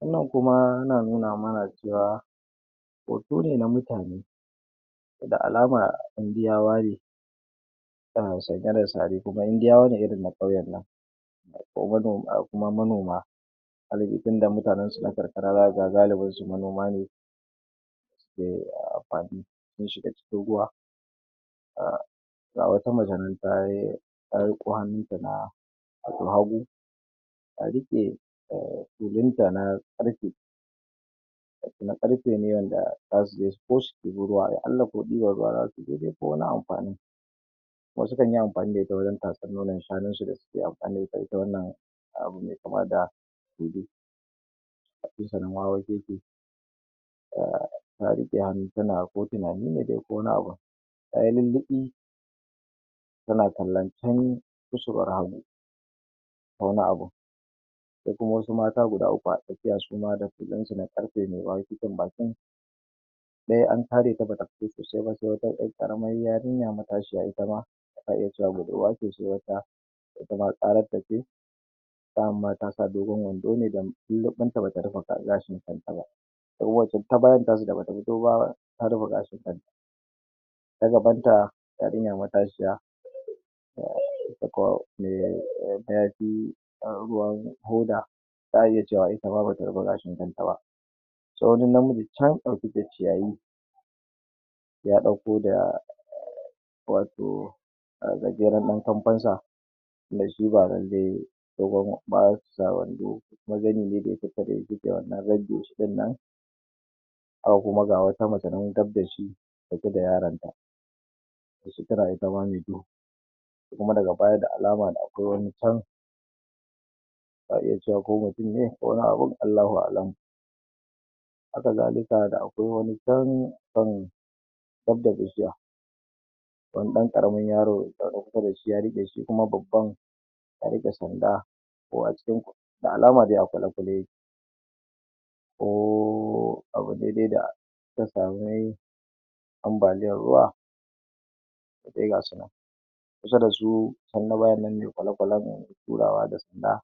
Wannan kuma na nuna mana cewa hoto ne na mutane da alama indiyawa ne tana sanye da sari Indiyawa ne irin na kauyen nan kuma mano kuma manoma galibi tunda mutanensu na karkara za kaga galibinsu manoma ne sun shiga cikin ruwa um ga wata mace nan ta riko hannunta na na hagu hagu ta riƙe tulun ta na karfe na karfe ne wanda ta riko ta debi ruwa ya Allah ko diban ruwan za ta yi ko wani amfani. Kuma su kan yi amfani da tulun ne wajen tatsan nonon shanunsu da suke amfani da ita wannan abin mai kama da um Ta riƙe hannu tana ko tunani ko wani abun tayi lulluɓi tana kallon can kusurwar hagu ko wani abun da kuma wassu Mata guda uku a tsakiya su ma da tullun su na ƙarfe mai wawakeken bakin ɗaya an kare ta bata fito sosai ba sai wata ƴar ƙaramar yarinya matashiya itama za a iya cewa budurwa ce sai kuma wata kuma tsarar ta ce dayan ma ta sa dogon wando ne da lulluɓin ta bata rufe gashin kanta ba ita kuma wancan ta bayan na su da bata fito ba ta rufe gashin kanta ta gaban ta yarinyar matashiya mayafi ruwan hoda za a iya cewa itama bata ryfe gashin kanta ba sai wani namiji chan a cikin ciyayi ya ɗauko wasu gajeren ɗan kamfen sa tunda shi ba lalle dogon ba su sa wando kuma zani ne da suka wannan rage shi ɗinnan haka kuma ga wata mace nan gab da shi da ita da yaron ta tana itama mai duhu kuma daga baya da alama da akwai wani chan za a iya cewa ko wani mutum ne ko wani abun Allahu a'alam haka zali da akwai wani chan a kan gab da igiya wani ɗan karamin yaro ya zo kusa da shi ya riƙe shi shi kuma babban ya riƙe sanda ko a cikin da alama dai a kwale-kwale ya ke ko abu ne dai da ta sami ambaliyan ruwa sai ga su nan kusa da su chan na bayan nan mai kwale-kwale turawa da sanda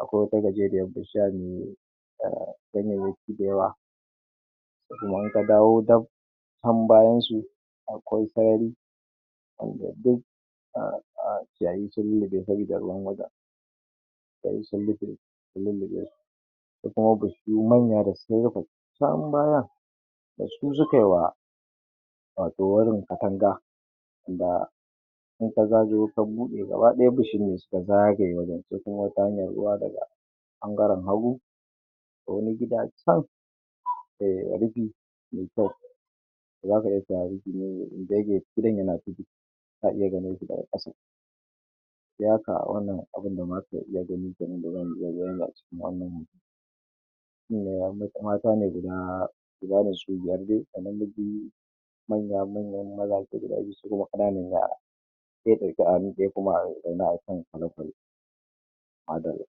akwai wata gajeriyar bishiya mai um ganyenyaki da yawa kuma in ka dawo dab chan bayan su akwai sarari ciyayi sun lulluɓe saboda ruwan wajen sun lulluɓe sai kuma bishiyu manya da sun rufe chan bayan da su sukai wa wato wurin katanga da in ka zagayo ka bude gabadaya bishiyun ne suka zagaye wajen sai kuma ta hanyan ruwa daga ɓangaren hagu akwai wani gida chan mai rufi mai kyau zaka iya cewa rufi ne mai gidan yana ciki ta iya ganin shi daga ƙasan ya ka wannan abin da ma suka iya gani kenan acikin wannan shine wani kuma tanadi na gida ne su biyar kaman na manya manyan maza guda biyu su kuma ƙananan yara daidaita a hannu ɗaya kuma zaune a kan kwale-kwale Madallah.